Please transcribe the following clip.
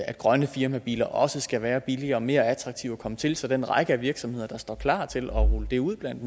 grønne firmabiler også skal være billigere og mere attraktive at komme til så den række af virksomheder der står klar til at rulle det ud blandt